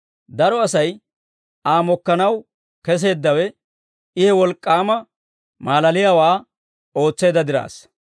Daro Asay Aa mokkanaw kesseeddawe, I he wolk'k'aama maalaliyaawaa ootseedda diraassa.